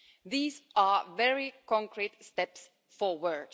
These are very concrete steps forward.